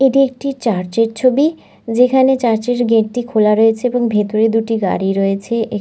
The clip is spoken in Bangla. এটি একটি চার্চ -এর ছবি যেখানে চার্চ -এর গেট -টি খোলা রয়েছে এবং ভেতরে দুটি গাড়ি রয়েছে এ--